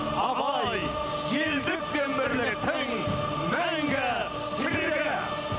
абай елдік пен бірліктің мәңгі тірегі